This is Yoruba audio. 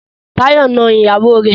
Táyọ̀ na ìyàwó rẹ̀.